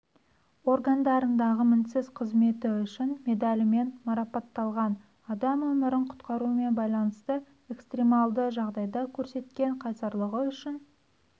органдарындағы мінсіз қызметі үшін медалімен марапатталған адам өмірін құтқарумен байланысты экстремалды жағдайда көрсеткен қайсарлығы үшін